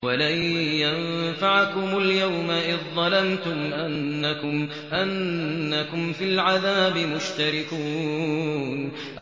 وَلَن يَنفَعَكُمُ الْيَوْمَ إِذ ظَّلَمْتُمْ أَنَّكُمْ فِي الْعَذَابِ مُشْتَرِكُونَ